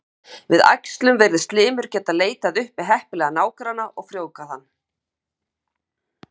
Við æxlun virðist limur getað leitað uppi heppilegan nágranna og frjóvgað hann.